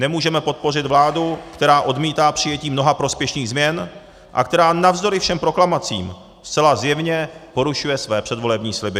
Nemůžeme podpořit vládu, která odmítá přijetí mnoha prospěšných změn a která navzdory všem proklamacím zcela zjevně porušuje své předvolební sliby.